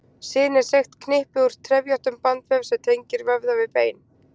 Sin er seigt knippi úr trefjóttum bandvef sem tengir vöðva við bein.